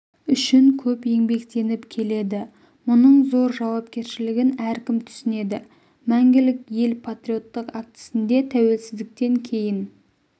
үшін көп еңбектеніп келеді мұның зор жауапкершілігін әркім түсінеді мәңгілік ел патриоттық актісінде тәуелсіздіктен кейін